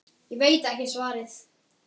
Ég veit ekki svarið.